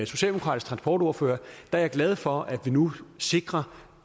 socialdemokratisk transportordfører er jeg glad for at vi nu sikrer